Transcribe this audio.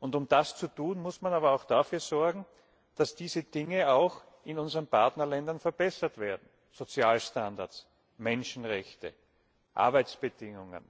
Und um das zu tun, muss man auch dafür sorgen, dass diese Dinge auch in unseren Partnerländern verbessert werden Sozialstandards, Menschenrechte, Arbeitsbedingungen.